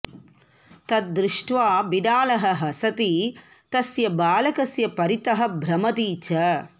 तत् दृष्ट्वा बिडालः हसति तस्य बालकस्य परितः भ्रमति च